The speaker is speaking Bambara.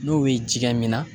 N'o ye jɛgɛ minna